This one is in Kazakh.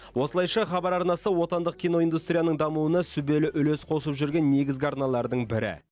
осылайша хабар арнасы отандық киноиндустрияның дамуына сүбелі үлес қосып жүрген негізгі арналардың бірі